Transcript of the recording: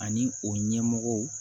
Ani o ɲɛmɔgɔw